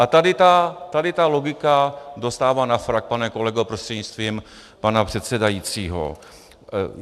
A tady ta logika dostává na frak, pane kolego prostřednictvím pana předsedajícího.